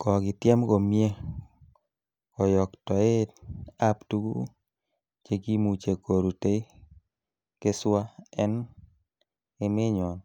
Kokityem komie koyoktoet ab tuguk chekimuche kerute keswa en emenyon,